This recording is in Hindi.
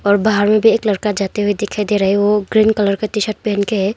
और बाहर में एक लड़का जाते हुए दिखाई दे रहा है वो ग्रीन कलर का टी शर्ट पहन के है।